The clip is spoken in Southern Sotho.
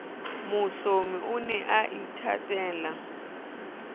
mohlomi o ne a ithatela